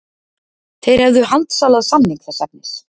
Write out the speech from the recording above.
Þeir hefðu handsalað samning þess efnis